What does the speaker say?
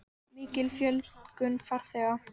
Mikil fjölgun farþega